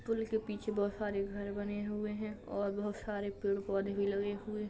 पुल के पीछे बहुत सारे घर बने हुए हैं और बहुत सारे पेड़ पौधे भी लगे हुए --